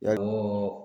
Yali munnu